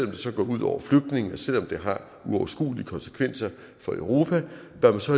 det så går ud over flygtningene selv om det har uoverskuelige konsekvenser for europa bør man så